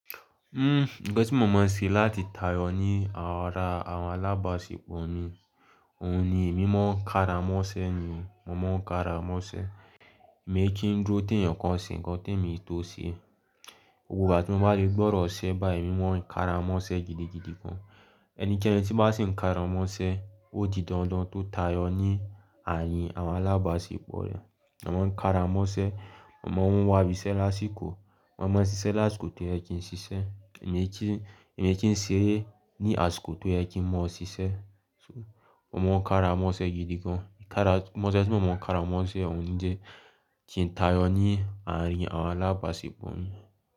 Uhm, ňkan tí mo mọ̀ ṣe láti tayọ ní aarin àwọn alábàáṣepọ̀ mi, òun ni emi mọ̀ kára mọ́ṣẹ́ ni mo mọ̀ kára mọ́ṣẹ́. Èmi kí ń dúró déyàn Kan wa ṣe ǹkan k'èmi tó ṣe. Gbogbo ìgbà tí mo bá le gbọ́dọ̀ ṣẹ́ báyìí, emo mọ̀ kára mọ́ṣẹ́ gidigidi gan. Ẹnikẹ́ni tí bá sì ń kára mọ́ṣẹ́, ó di dandan kó tayọ ní àarìn àwọn alábàáṣepọ̀ rẹ̀. Mo máa ń kára mọ́ṣẹ́, mo máa ń wá ibiṣẹ́ lásìkò, mo máa ń ṣiṣẹ́ lásìkò tó yẹ kí n ṣiṣẹ́. Èmi kí ń, èmi kí ń ṣeré ní àsìkò tó yẹ kí mo ṣiṣẹ́. Mo máa ń kára mọ́ṣẹ́ gidi gan. Kára, mọ́ṣẹ́ tí mo máa ń kára mọ́ṣẹ́ òun ni jẹ́ kí n tayọ ní àrìn àwọn alábàáṣepọ̀ mi.